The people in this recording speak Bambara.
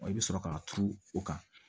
i bɛ sɔrɔ k'a turu o kan